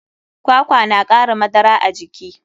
Kwakwa na kara madara a jiki.